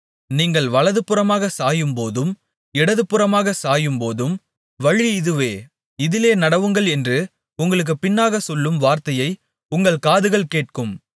நீங்கள் வலதுபுறமாகச் சாயும்போதும் இடதுபுறமாகச் சாயும்போதும் வழி இதுவே இதிலே நடவுங்கள் என்று உங்களுக்குப் பின்னாக சொல்லும் வார்த்தையை உங்கள் காதுகள் கேட்கும்